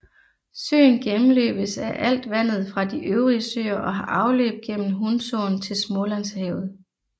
Søen gennemløbes af alt vandet fra de øvrige søer og har afløb gennem Hunsåen til Smålandshavet